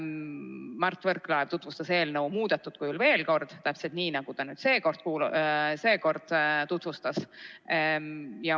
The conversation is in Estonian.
Mart Võrklaev tutvustas eelnõu muudetud kujul veel kord, täpselt nii, nagu ta seekord tutvustas.